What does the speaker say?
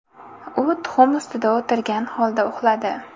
U tuxum ustida o‘tirgan holda uxladi.